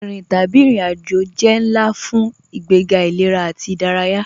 Rínrín tabí irin-ájò jẹ́ nlá fun ìgbègá ilẹ̀rà ati ìdáràyà.